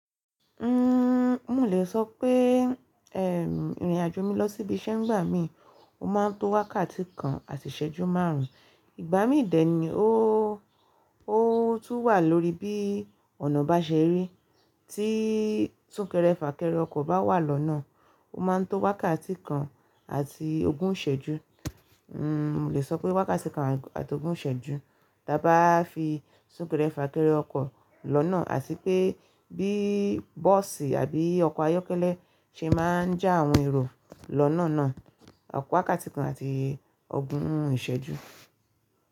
Nnn, mo lè sọ pé, eh, ìrìnàjò mi lọ sí ibi iṣẹ́ ń gbà mí, ó ma ń tó wákàtí kan àti ìsẹ́jú márùn-ún. Ìgbà mí ìdẹ̀ ni, óóó ó tún wà lórí bí ọ̀nà bá ṣe rí. Tíí súnkẹrẹ fàkẹrẹ ọkọ̀ bá wà lọ́nà, ó ma ń tó wákàtí kan àti ogún ìsẹ́jú. Nnn, mo lè sọ pé wákàtí kan àti ogún ìsẹ́jú. Tá bá fi súnkẹrẹ fàkẹrẹ ọkọ̀ lọ́nà àti pé bí bọ́ọ̀sì àbí ọkọ̀ ayọ́kẹ́lẹ́ ṣe má ń já àwọn èrò lọ́nà náà, ó tó wákàtí kan àti ogún ìsẹ́jú.